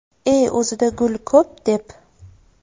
E o‘zida gul ko‘p deb.